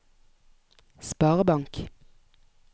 sparebank